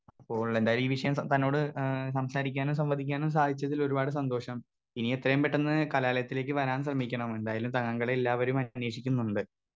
Speaker 2 അപ്പോൾ എന്തായാലും ഈ വിഷയം ത തന്നോട് ഏ സംസാരിക്കാനും സംവദിക്കാനും സാധിച്ചതിലൊരുപാട് സന്തോഷം ഇനി എത്രയും പെട്ടെന്ന് കലാലയത്തിലേക്ക് വരാൻ ശ്രമിക്കണം എന്തായാലും താങ്കളെ എല്ലാവരും അന്വേഷിക്കുന്നുണ്ട്.